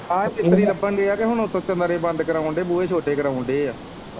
ਆਹ ਚਿਮਨੀ ਲੱਬਣ ਦੀ ਐ ਤੇ ਹੁਣ ਉੱਪਰੋਂ ਕਮਰੇ ਬੰਦ ਕਰਾਨ ਦੇ ਐ ਬੂਹੇ ਛੋਟੇ ਕਰਾਨ ਦੇ ਐ।